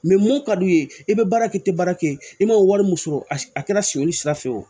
mun ka d'u ye i bɛ baara kɛ i tɛ baara kɛ i ma wari min sɔrɔ a kɛra siyɛnli sira fɛ o